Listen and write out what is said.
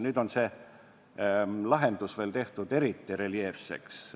Nüüd on see lahendus tehtud veel eriti reljeefseks.